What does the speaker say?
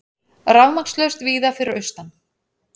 Rafmagnslaust víða fyrir austan